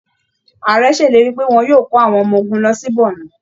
Ààrẹ ṣèlérí pé wọn yóò kó awọn ọmọ ogunlọ sí Bornu